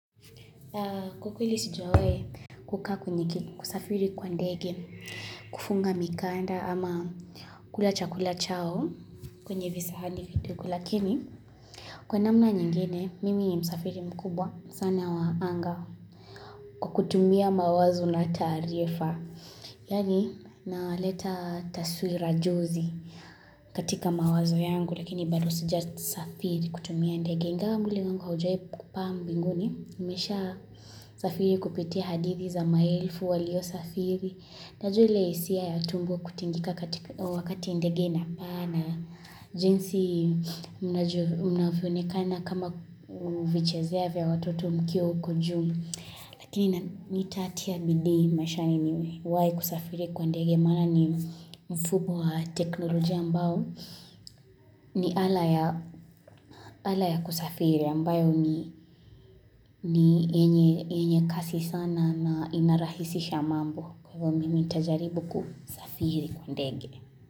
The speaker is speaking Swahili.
Kwa kweli sijawahi kusafiri kwa ndege, kufunga mikanda ama kula chakula chao kwenye visahani vidogo. Lakini, kwa namna nyingine mimi ni msafiri mkubwa sana wa anga kwa kutumia mawazo na taarifa. Yaani naleta taswira jozi katika mawazo yangu lakini bado sijasafiri kutumia ndege. Ingawa mwili wangu haujawahi kupaa mbinguni, Nimeshasafiri kupitia hadithi za maelfu waliosafiri. Najua ile hisia ya tumbo kutingika wakati ndege inapaa na jinsi mnavyoonekana kama kuvichezea vya watoto mkiwa huko juu. Lakini nitatia bidii maishani niwahi kusafiri kwa ndege. Maana ni mfumo wa teknolojia ambao ni ala ya kusafiri. Na ambayo ni yenye kasi sana na inarahisisha mambo. Kama mimi nitajaribu kusafiri ndege.